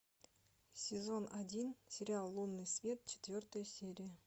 сезон один сериал лунный свет четвертая серия